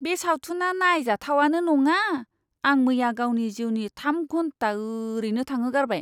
बे सावथुना नायजाथावानो नङा! आं मैया गावनि जिउनि थाम घन्टा ओरैनो थांहोगारबाय!